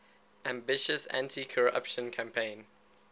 ambitious anticorruption campaign